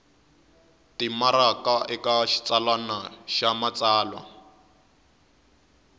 timaraka eka xitsalwana xa matsalwa